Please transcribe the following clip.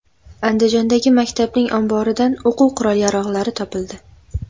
Andijondagi maktabning omboridan o‘quv qurol-yarog‘lari topildi.